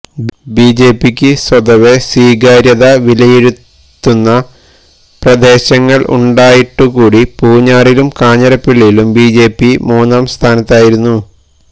ബിജെപിക്ക് സ്വതവെ സ്വീകാര്യത വിലയിരുത്തുന്ന പ്രദേശങ്ങള് ഉണ്ടായിട്ടു കൂടി പൂഞ്ഞാറിലും കാഞ്ഞിരപ്പള്ളിയിലും ബിജെപി മൂന്നാം സ്ഥാനത്തായിരുന്നു